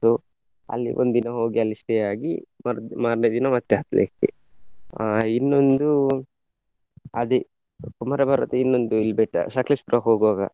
So ಅಲ್ಲಿ ಒಂದು ದಿನ ಹೋಗಿ ಅಲ್ಲಿ stay ಆಗಿ ಬರುದು ಮಾರ್ನೆ ದಿನ ಮತ್ತೆ ಹತ್ಲಿಕ್ಕೆ. ಅಹ್ ಇನ್ನೊಂದು ಅದೇ ಕುಮಾರ ಪರ್ವತ ಇನ್ನೊಂದು ಇಲ್ಲಿ ಬೆಟ್ಟ ಸಕ್ಲೇಶಪುರ ಹೋಗುವಾಗ.